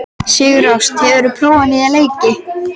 Sigurásta, hefur þú prófað nýja leikinn?